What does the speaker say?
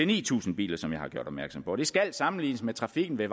ni tusind biler som jeg har gjort opmærksom på det skal sammenlignes med trafikken ved